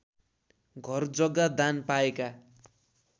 घरजग्गा दान पाएका